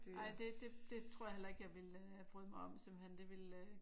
Ej det det tror jeg heller ikke jeg ville øh bryde mig om simpelthen det ville